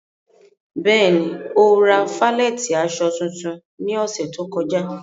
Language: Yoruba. Bẹ́ẹ̀ni, o ra falẹ̀tí aṣọ tuntun ní òṣè tó kọ̀já.